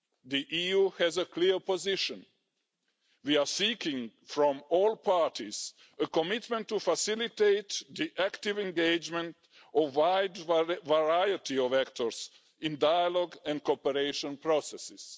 The EU has a clear position we are seeking from all parties a commitment to facilitate the active engagement of a wide variety of actors in dialogue and cooperation processes.